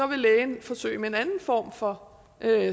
vil lægen forsøge med en anden form for